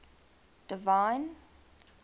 divine